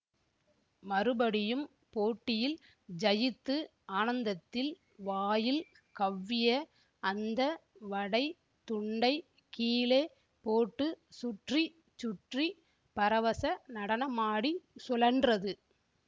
மறுபடியும் போட்டியில் ஜயித்து ஆனந்தத்தில் வாயில் கவ்விய அந்த வடைத் துண்டைக் கீழே போட்டு சுற்றி சுற்றி பரவச நடனமாடிச் சுழன்றது